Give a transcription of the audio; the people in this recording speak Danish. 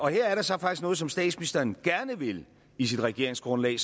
her er der så faktisk noget som statsministeren gerne ville i sit regeringsgrundlag